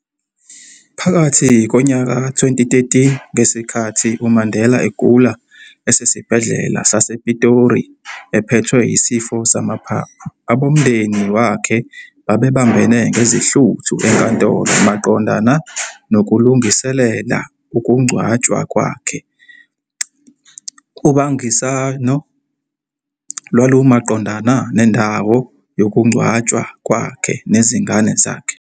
Phakathi nonyaka ka-2013, ngesikhathi uMandela egula esesibhedlela sasePitori ephethwe yisifo samaphaphu, abomndeni wakhe babebambene ngezihluthu enkantolo, maqondana nokulungiselela ukungcwatshwa kwakhe, ubangisano lwalumaqondana nendawo yokungcwatshwa kwakhe nezingane zakhe.